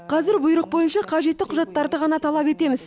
қазір бұйрық бойынша қажетті құжаттарды ғана талап етеміз